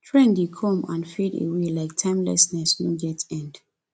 trend dey come and fade away like timelessness no get end